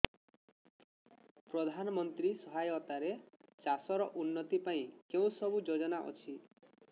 ପ୍ରଧାନମନ୍ତ୍ରୀ ସହାୟତା ରେ ଚାଷ ର ଉନ୍ନତି ପାଇଁ କେଉଁ ସବୁ ଯୋଜନା ଅଛି